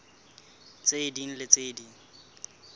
tse ding le tse ding